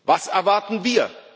Was erwarten wir?